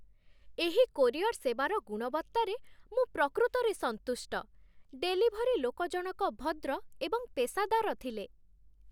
ଏହି କୋରିଅର ସେବାର ଗୁଣବତ୍ତାରେ ମୁଁ ପ୍ରକୃତରେ ସନ୍ତୁଷ୍ଟ। ଡେଲିଭରି ଲୋକଜଣକ ଭଦ୍ର ଏବଂ ପେସାଦାର ଥିଲେ।